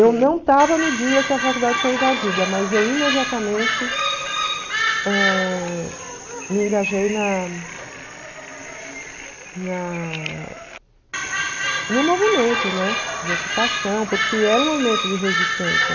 Eu não estava no dia que a faculdade foi invadida, mas eu imediatamente ãh me engajei na na no movimento de ocupação, porque era um movimento de resistência.